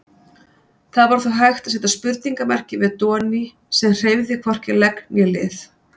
Það var þó hægt að seta spurningarmerki við Doni sem hreyfði hvorki legg né lið.